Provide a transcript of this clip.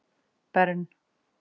Bern